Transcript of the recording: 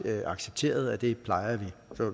accepteret og det plejer vi